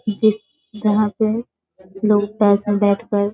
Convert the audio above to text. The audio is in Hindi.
पीछे से जहाँ पे लोग पास में बैठ कर --